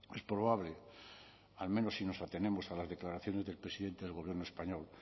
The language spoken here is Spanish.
es probable al menos si nos atenemos a las declaraciones del presidente del gobierno español